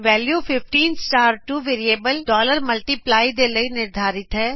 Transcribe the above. value 152 variable multiply ਦੇ ਲਈ ਨਿਰਧਾਰਿਤ ਹੈ